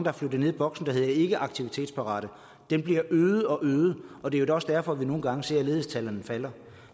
er flyttet ned i boksen der hedder ikke aktivitetsparate den bliver øget og øget og det er også derfor vi nogle gange ser at ledighedstallene falder